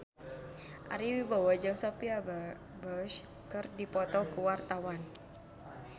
Ari Wibowo jeung Sophia Bush keur dipoto ku wartawan